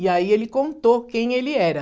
E aí ele contou quem ele era.